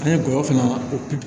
An ye gɔyɔ fana ko